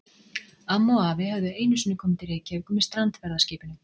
Amma og afi höfðu einu sinni komið til Reykjavíkur með strandferðaskipinu